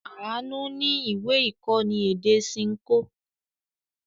Àánú ní ìwé-ìkọ́ni èdè Ṣinkó.